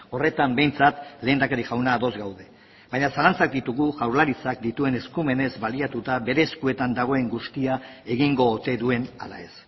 horretan behintzat lehendakari jauna ados gaude baina zalantzak ditugu jaurlaritzak dituen eskumenez baliatuta bere eskuetan dagoen guztia egingo ote duen ala ez